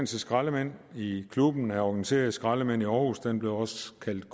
skraldemænd i klubben af organiserede skraldemænd i aarhus den blev også kaldt